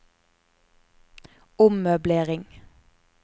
ommøblering